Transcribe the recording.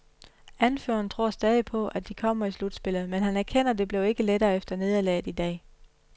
Anføreren tror stadig på, at de kommer i slutspillet, men han erkender det blev ikke lettere efter nederlaget i dag.